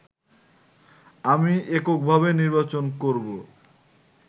আমি এককভাবে নির্বাচন করবো